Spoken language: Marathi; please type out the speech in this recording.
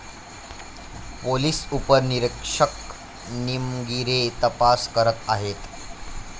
पोलीस उपनिरीक्षक निमगीरे तपास करत आहेत.